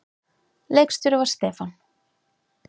Leikstjóri var Stefán